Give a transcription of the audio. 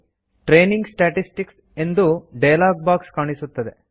training statistics ಎಂದು dialog box ಕಾಣುತ್ತದೆ